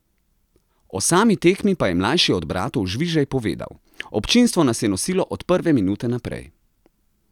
O sami tekmi pa je mlajši od bratov Žvižej povedal: "Občinstvo nas je nosilo od prve minute naprej.